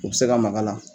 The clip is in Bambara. U bɛ se ka maga a la